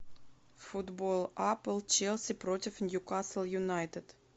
футбол апл челси против ньюкасл юнайтед